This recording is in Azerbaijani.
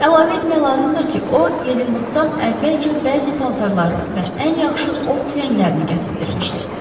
Əlavə etmək lazımdır ki, o Edinburqdan əvvəlcə bəzi paltarlarını və ən yaxşı ov tüfənglərini gətizdirmişdi.